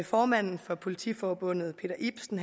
formanden for politiforbundet peter ibsen